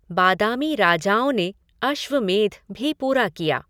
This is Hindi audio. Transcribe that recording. बादामी राजाओं ने अश्वमेध भी पूरा किया।